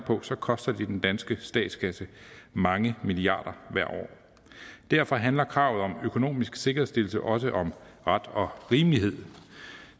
så koster det den danske statskasse mange milliarder hvert år derfor handler kravet om en økonomisk sikkerhedsstillelse også om ret og rimelighed